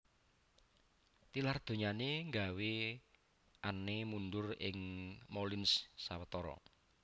Tilar donyané nggawé Anne mundur ing Moulins sewetara